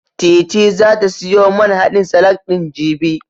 Titi zata siyo man haɗin salak ɗin, jibi.